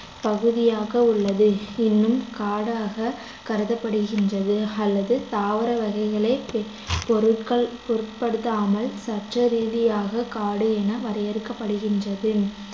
பகுதியாக உள்ளது இன்னும் காடாக கருதப்படுகின்றது அல்லது தாவர வகைகளைப் பொருட்கள் பொருட்படுத்தாமல் சட்டரீதியாக காடு என வகைப்படுத்தப்படுகின்றது